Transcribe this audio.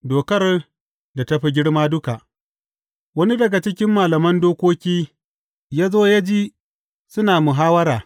Dokar da ta fi girma duka Wani daga cikin malaman dokoki ya zo ya ji suna muhawwara.